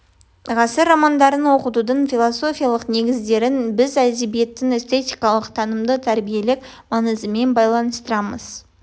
ғасыр романдарын оқытудың философиялық негіздерін біз әдебиеттің эстетикалық танымдық тәрбиелік маңызымен байланыстырамыз